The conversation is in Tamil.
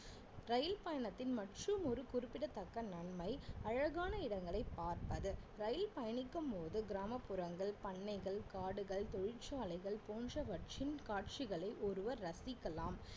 ரயில் பயணத்தின் மற்றும் ஒரு குறிப்பிடத்தக்க நன்மை அழகான இடங்களை பார்ப்பது ரயில் பயணிக்கும் போது கிராமப்புறங்கள், பண்ணைகள், காடுகள், தொழிற்சாலைகள் போன்றவற்றின் காட்சிகளை ஒருவர் ரசிக்கலாம்